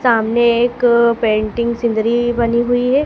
सामने एक painting scenery बनी हुई है।